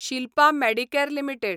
Shilpa Medicare limited